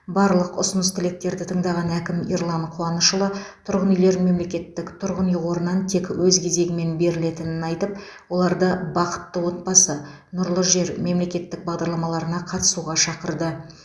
барлық ұсыныс тілектерді тыңдаған әкім ерлан қуанышұлы тұрғын үйлер мемлекеттік тұрғын үй қорынан тек өз кезегімен берілетінін айтып оларды бақытты отбасы нұрлы жер мемлекеттік бағдарламаларына қатысуға шақырды